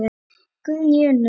Guðný Unnur.